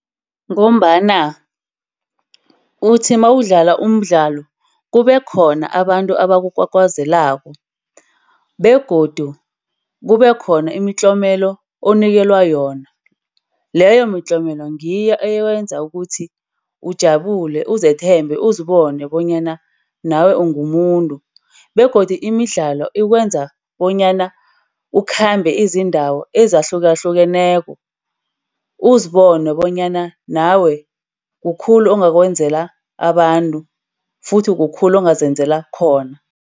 Ngombana uthi mawudlala umdlalo, kube khona abantu abakukwakwazelako. Begodu kube khona imitlolelo onikelwa yona. Leyo mitlolo ngiyo eyenza ukuthi ujabule, uzethemba, uzibona bonyana nawe ungumuntu begodu imidlalo ikwenza bonyana ukhambe izindawo ezahlukahlukeneko. Uzibone bonyana nawe kukhulu ongakwenzela abantu futhi kukhulu ongazenzala khona.